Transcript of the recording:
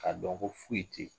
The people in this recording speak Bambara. Ka dɔn ko foyi te yen .